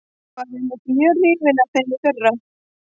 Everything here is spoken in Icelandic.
Ég var einmitt mjög hrifinn af þeim í fyrra.